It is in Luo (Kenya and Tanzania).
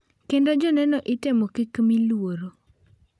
Kendo joneno itemo kik mi luoro.